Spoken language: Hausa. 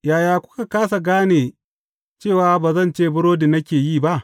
Yaya kuka kāsa gane cewa ba zancen burodi nake yi ba?